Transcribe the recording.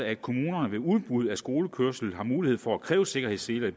at kommunerne ved udbud af skolekørsel har mulighed for at kræve sikkerhedsseler i